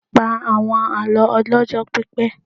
Pa àwọn àlọ́ ọlọ́jọ́ pípẹ́.